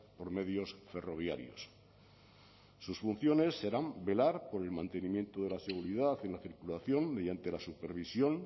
por medios ferroviarios sus funciones serán velar por el mantenimiento de la seguridad en la circulación mediante la supervisión